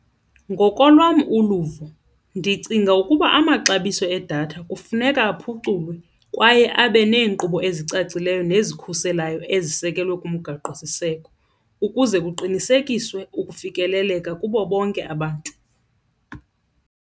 Ngokolwam uluvo ndicinga ukuba amaxabiso edatha kufuneka aphuculwe kwaye abe neenkqubo ezicacileyo nezikhuselayo ezisekelwe kumgaqosiseko ukuze kuqinisekiswe ukufikeleleka kubo bonke abantu.